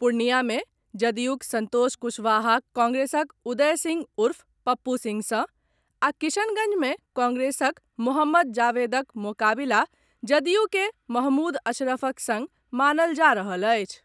पूर्णियां मे जदयूक संतोष कुशवाहाक कांग्रेसक उदय सिंह उर्फ पप्पू सिंह सॅ आ किशनगंज मे कांग्रेसक मोहम्मद जावेदक मोकाबिला जदयूके महमूद अशरफक संग मानल जा रहल अछि।